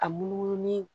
A munumunu ni